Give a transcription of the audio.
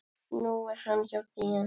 Nú er hann hjá þér.